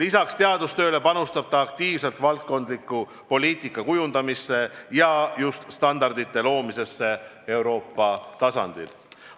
Peale teadustöö panustab ta aktiivselt valdkondlikku poliitikakujundamisse ja just standardite loomisesse Euroopa tasandil.